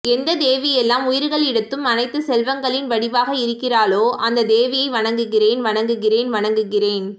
எந்த தேவி எல்லா உயிர்களிடத்தும் அனைத்து செல்வங்களின் வடிவாக இருக்கிறாளோ அந்த தேவியை வணங்குகிறேன் வணங்குகிறேன் வணங்குகிறேன்